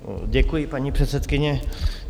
Děkuji, paní předsedkyně.